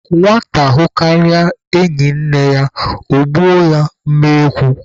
Nwata hụkarịa enyi nne ya, ọ gbuo ya mma ekwu.